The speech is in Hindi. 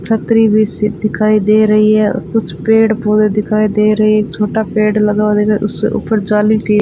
छतरी भी सी दिखाई दे रही है कुछ पेड़ पोधै दिखाइ दे रहे हैं एक छोटा पेड़ लगा हुआ दिखा उससे ऊपर जाली की --